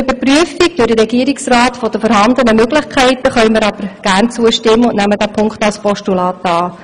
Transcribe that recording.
Einer Überprüfung der vorhandenen Möglichkeiten durch den Regierungsrat können wir aber gern zustimmen und nehmen diesen Punkt als Postulat an.